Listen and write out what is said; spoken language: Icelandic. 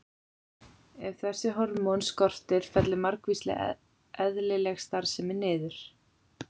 Ef þessi hormón skortir fellur margvísleg eðlileg starfsemi niður.